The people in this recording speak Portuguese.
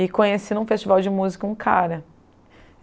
E conheci, em um festival de música, um cara.